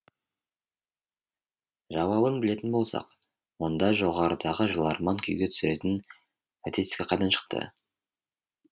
жауабын білетін болсақ онда жоғарыдағы жыларман күйге түсіретін статистика қайдан шықты